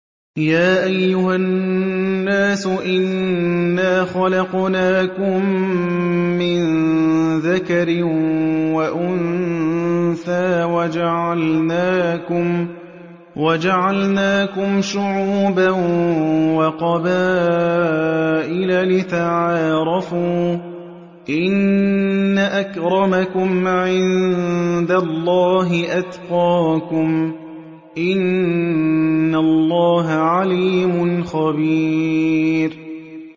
يَا أَيُّهَا النَّاسُ إِنَّا خَلَقْنَاكُم مِّن ذَكَرٍ وَأُنثَىٰ وَجَعَلْنَاكُمْ شُعُوبًا وَقَبَائِلَ لِتَعَارَفُوا ۚ إِنَّ أَكْرَمَكُمْ عِندَ اللَّهِ أَتْقَاكُمْ ۚ إِنَّ اللَّهَ عَلِيمٌ خَبِيرٌ